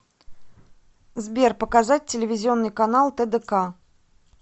сбер показать телевизионный канал тдк